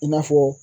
I n'a fɔ